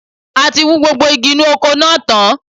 A ti wú gbogbo igi inú oko náà tán